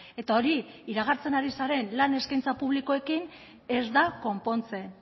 eta hori iragartzen ari zaren lan eskaintza publikoekin ez da konpontzen